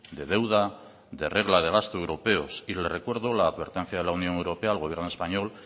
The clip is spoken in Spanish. de deuda de regla de gasto europeos y le recuerdo la advertencia de la unión europea al gobierno español